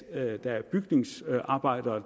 at der er bygningsarbejdere